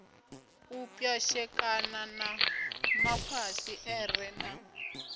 u pwashekana ha mafasiṱere na